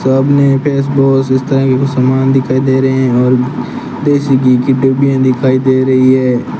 सामने इस तरह की कुछ सामान दिखाई दे रहे हैं और देसी घी की डिब्बियां दिखाई दे रही है।